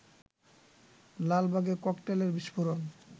লালবাগে ককটেলের বিস্ফোরণ